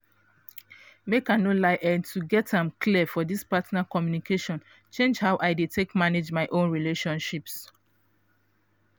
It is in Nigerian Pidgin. make i no lie eh to get am clear for this partner communication change how i dey take manage my own relationships.